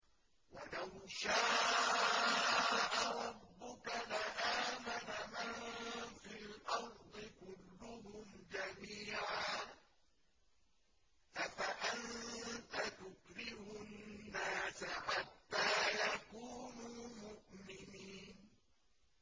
وَلَوْ شَاءَ رَبُّكَ لَآمَنَ مَن فِي الْأَرْضِ كُلُّهُمْ جَمِيعًا ۚ أَفَأَنتَ تُكْرِهُ النَّاسَ حَتَّىٰ يَكُونُوا مُؤْمِنِينَ